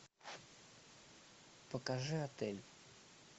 покажи отель